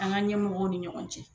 An ka ɲɛmɔgɔw ni ɲɔgɔn cɛ